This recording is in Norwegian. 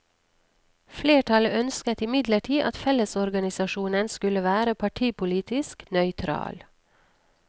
Flertallet ønsket imidlertid at fellesorganisasjonen skulle være partipolitisk nøytral.